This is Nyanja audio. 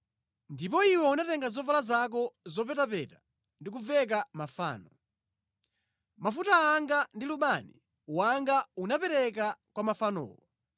Ndipo iwe unatenga zovala zako zopetapeta ndi kuveka mafano. Mafuta anga ndi lubani wanga unapereka kwa mafanowo.